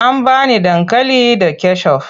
An ba ni dankali da kecof.